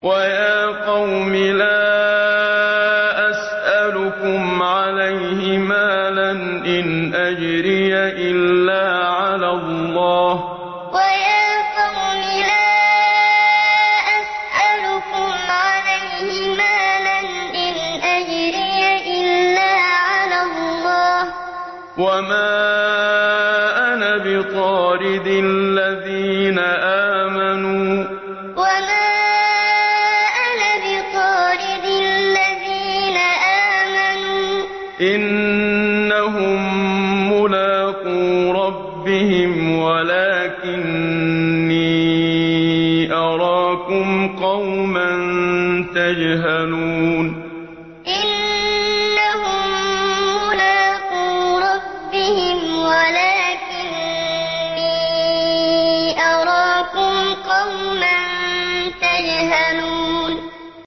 وَيَا قَوْمِ لَا أَسْأَلُكُمْ عَلَيْهِ مَالًا ۖ إِنْ أَجْرِيَ إِلَّا عَلَى اللَّهِ ۚ وَمَا أَنَا بِطَارِدِ الَّذِينَ آمَنُوا ۚ إِنَّهُم مُّلَاقُو رَبِّهِمْ وَلَٰكِنِّي أَرَاكُمْ قَوْمًا تَجْهَلُونَ وَيَا قَوْمِ لَا أَسْأَلُكُمْ عَلَيْهِ مَالًا ۖ إِنْ أَجْرِيَ إِلَّا عَلَى اللَّهِ ۚ وَمَا أَنَا بِطَارِدِ الَّذِينَ آمَنُوا ۚ إِنَّهُم مُّلَاقُو رَبِّهِمْ وَلَٰكِنِّي أَرَاكُمْ قَوْمًا تَجْهَلُونَ